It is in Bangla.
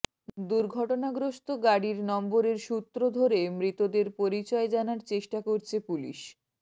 দুর্ঘটনাগ্রস্ত গাড়ির নম্বরের সূত্র ধরে মৃতদের পরিচয় জানার চেষ্টা করছে পুলিশ